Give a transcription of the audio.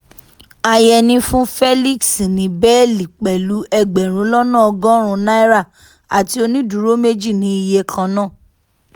àyẹni fún felix ní bẹ́ẹ́lí pẹ̀lú ẹgbẹ̀rún lọ́nà ọgọ́rùn-ún náírà àti onídùúró méjì ní iye kan náà